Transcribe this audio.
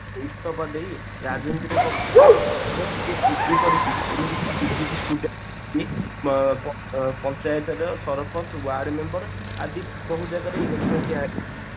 ଇସ୍ତଫା ଦେଇ ରାଜନୀତି ରେ ପଶିଛନ୍ତି ଏବଂ ସେ PG କରିକି ଏମିତି କି PG student ଅ ପଞ୍ଚାୟତ ର ସରପଞ୍ଚ ward member ଆଦି ବହୁ ଜାଗାରେ